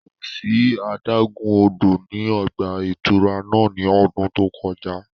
Ko si adagun-odo ni ọgba-ìturá náa ni ọ́dùn to kọja